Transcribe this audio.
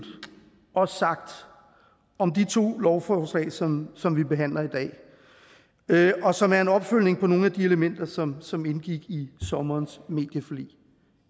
også sagt om de to lovforslag som som vi behandler i dag og som er en opfølgning på nogle af de elementer som som indgik i sommerens medieforlig